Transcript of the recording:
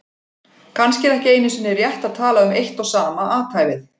Kannski er ekki einu sinni rétt að tala um eitt og sama athæfið.